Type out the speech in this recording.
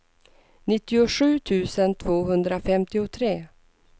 nittiosju tusen tvåhundrafemtiotre